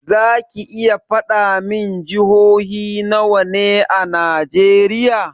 Zaki iya faɗa min jihohi nawa ne a najeriya?